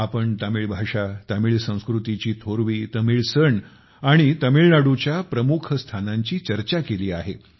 आपण तमिळ भाषातमिळ संकृतीची थोरवी तमिळ सण आणि तामिळनाडूच्या प्रमुख स्थानांची चर्चा केली आहे